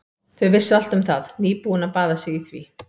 Þau vissu allt um það, nýbúin að baða sig í því.